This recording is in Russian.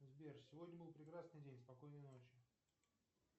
сбер сегодня был прекрасный день спокойной ночи